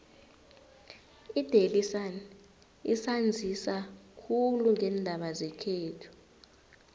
idaily sun isanzisa khulu ngeendaba zekhethu